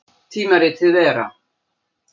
Tímaritið Vera.